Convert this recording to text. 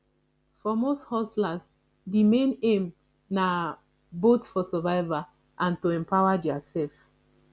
for most hustlers di main aim na both for survival and to empower their self